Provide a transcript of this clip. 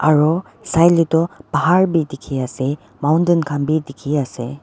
aru saile tu bahar bhi dikhi ase mountain khan bhi dikhi ase.